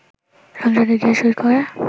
সংসদে গিয়ে সই করে